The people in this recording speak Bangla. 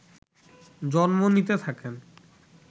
জন্ম নিতে থাকেন